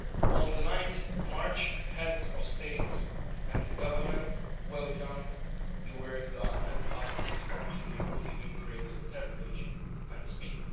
On 9 March, the Heads of State and Government welcomed the work done and asked to continue with even greater determination and speed.